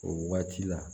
O waati la